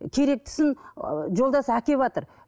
керектісін ыыы жолдасы әкеватыр